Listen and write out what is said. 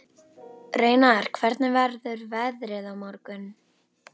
Reynar, hvernig verður veðrið á morgun?